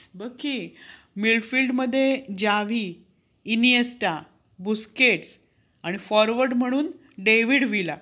खूप problem होतोय so please मला एकदा सांगा